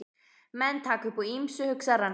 Menn taka upp á ýmsu, hugsar hann.